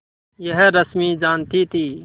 यह रश्मि जानती थी